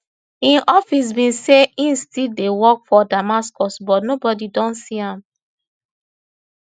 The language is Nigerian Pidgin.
im office bin say im still dey work for damascus but nobodi don see am